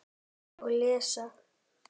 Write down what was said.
Og lesa.